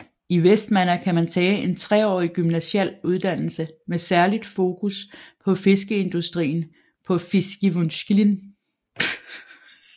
I Vestmanna kan man tage en treårig gymnasial uddannelse med særligt fokus på fiskeindustrien på Fiskivinnuskúlin